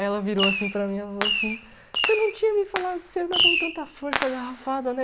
Aí ela virou assim para mim ela falou assim, você não tinha me falado que você ia dar com tanta força a garrafada, né?